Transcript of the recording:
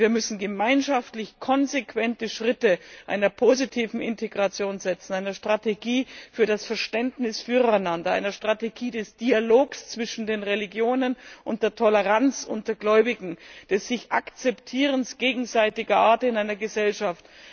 Wir müssen gemeinschaftlich konsequente Schritte einer positiven Integration gehen, einer Strategie für das Verständnis füreinander, einer Strategie des Dialogs zwischen den Religionen und der Toleranz unter Gläubigen, des einander Akzeptierens in einer Gesellschaft.